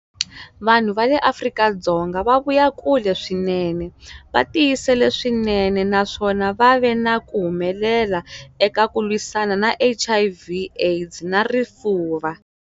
Vanhu va le Afrika-Dzonga va vuya kule swinene, va tiyisele swinene, naswona va ve na ku humelela eka ku lwisana na HIV, AIDS na Rifuva.